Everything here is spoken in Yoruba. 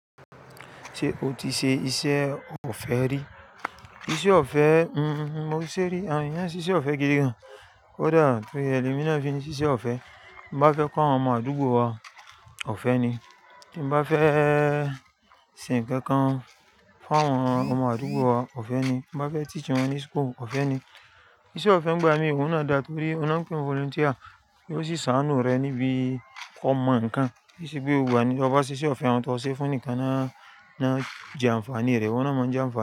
Ṣé o ti ṣe iṣẹ́ ọ̀fẹ́ rí? Iṣẹ́ ọ̀fẹ́, mmm mo ṣé rí, àwọn èyàn ṣíṣe ọ̀fẹ́ gidi gan. Kodá torí e le mi na fi ní ṣiṣẹ́ ọ̀fẹ́. Bí mo bá fẹ́ kọ́ àwọn ọmọ àdúgbò wa, ọ̀fẹ́ ni. Bí mo bá fẹ́ ṣe ǹkan kan fún àwọn ọmọ àdúgbò wa, ọ̀fẹ́ ni. Bí mo bá fẹ́ teach wọn ní school, ọ̀fẹ́ ni. Iṣẹ́ ọ̀fẹ́ nígbà mí òun náà dá torí oun na pè ní volunteer, yóò sì ṣàánú rẹ̀ níbi kọ́ mo ǹkan. Tí ṣe pé gbogbo ni tó bá ṣiṣẹ́ ọ̀fẹ́, àwọn tó ṣe fún ǹikan náà náà jẹ àǹfàní rẹ̀, òun a máa ń jẹ àǹfàní rẹ̀